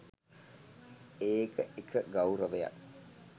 ඒක එක ගෞරවයක්